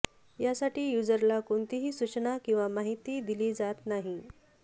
यासाठी युजरला कोणतीही सूचना किंवा माहिती दिली जात नाही